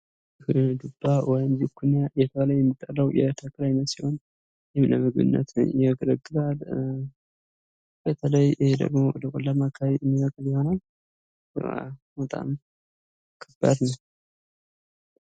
ዱባ ወይም ዝኩኒ የሚባለው የተክል አይነት ሲሆን ለምግብነት ያገለግላል። በተለይ ደግሞ ወደ ቆላማ አካበቢ የሚበቅል ይሆናል ።በጣም ከባድ ነው።